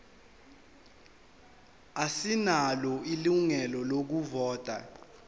asinalo ilungelo lokuvota